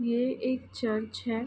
ये एक चर्च है।